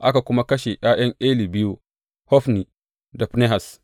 Aka kuma kashe ’ya’yan Eli biyu, Hofni da Finehas.